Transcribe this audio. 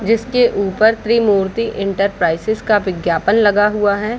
जिसके ऊपर त्रिमूर्ति इंटरप्राइजेज विज्ञापन लगा हुआ है।